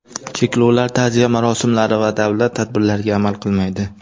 Cheklovlar ta’ziya marosimlari va davlat tadbirlariga amal qilmaydi.